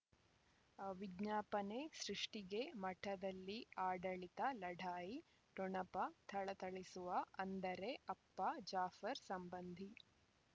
ಹ್ ವಿಜ್ಞಾಪನೆ ಸೃಷ್ಟಿಗೆ ಮಠದಲ್ಲಿ ಆಡಳಿತ ಲಢಾಯಿ ಠೊಣಪ ಥಳಥಳಿಸುವ ಅಂದರೆ ಅಪ್ಪ ಜಾಫರ್ ಸಂಬಂಧಿ